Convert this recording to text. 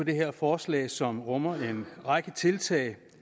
det her forslag som rummer en række tiltag